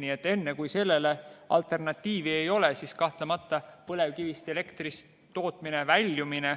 Nii et enne, kui sellele alternatiivi ei ole, siis kahtlemata on põlevkivist elektri tootmisest väljumine